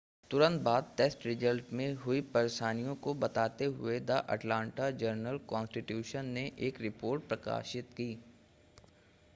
तुरंत बाद test results में हुई परेशानियों को बताते हुए द अटलांटा जर्नल-कॉन्स्टिट्यूशन ने एक रिपोर्ट प्रकाशित की